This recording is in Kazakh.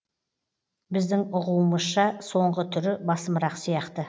біздің ұғуымызша соңғы түрі басымырақ сияқты